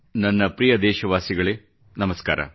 ನನ್ನ ಪ್ರಿಯ ದೇಶವಾಸಿಗಳೇ ನಮಸ್ಕಾರ